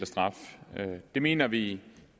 og straf det mener vi